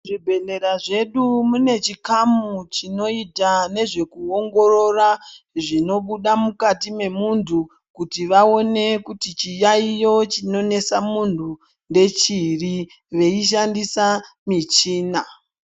Muzvibhedhlera zvedu mune chikamu chinoita nezvekuongorora zvinobuda mukati memuntu kuti vaone kuti chiyayiyo chinonetsa muntu ndechiri, veishandisa michinaa.